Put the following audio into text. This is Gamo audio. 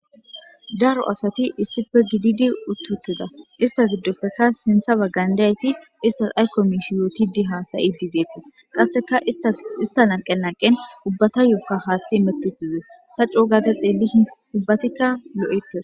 Daro asathi issippe gididi uththi7uththiza; uththiza giddoppekka sinththa baggan diyaa7ethi aykko miishsha yoothiidi haasa7iiddi deeththees; qassikka isththa lanqqen lanqqen ubbathuyookka haaththi imeththi7uhti zee;tha coo gada xeellishin ubbathikka lo7eeththes.